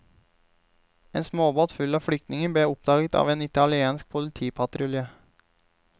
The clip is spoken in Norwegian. Et småbåt full av flyktninger ble oppdaget av en italiensk politipatrulje.